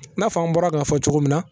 N'a fɔ an bɔra k'a fɔ cogo min na.